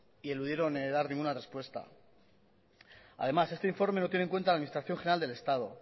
y eludieron dar ninguna respuesta además este informe lo tiene en cuenta la administración general del estado